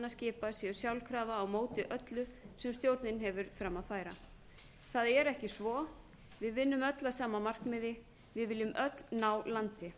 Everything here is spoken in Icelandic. skipa séu sjálfkrafa á móti öllu sem stjórnin hefur fram að færa það er ekki svo við vinnum öll að sama markmiði við viljum öll ná landi